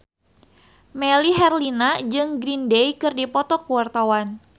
Melly Herlina jeung Green Day keur dipoto ku wartawan